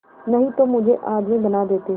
नहीं तो मुझे आदमी बना देते